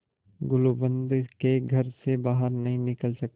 गुलूबंद के घर से बाहर नहीं निकल सकते